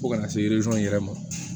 Fo kana se yɛrɛ ma